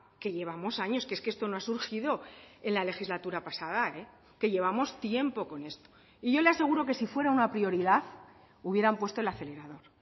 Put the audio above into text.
que llevamos años que es que esto no ha surgido en la legislatura pasada que llevamos tiempo con esto y yo le aseguro que si fuera una prioridad hubieran puesto el acelerador